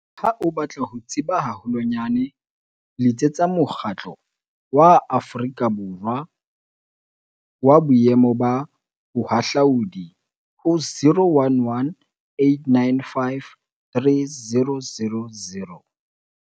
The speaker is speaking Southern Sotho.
Ha o batla ho tseba haholwanyane letsetsa Mokgatlo wa Aforika Borwa wa Boemo ba Bohahlaudi ho 011 895 3000.